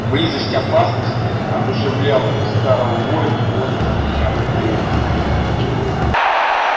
близость опасности одушевляла старого воина бодростью необыкновенной